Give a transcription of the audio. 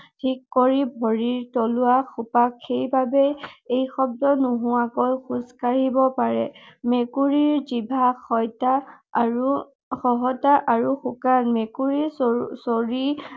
কৰি ভৰিৰ তলুৱা সেইবাবে ই শব্দ নোহোৱাকৈ খোজ কাঢ়িব পাৰে। মেকুৰীৰ জিভা আৰু খহটা আৰু শুকান। মেকুৰীৰ চৰি